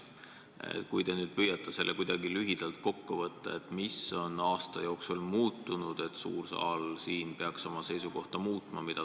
Kui te nüüd püüaksite kuidagi lühidalt kokku võtta, mis on aasta jooksul muutunud, et suur saal peaks oma seisukohta muutma.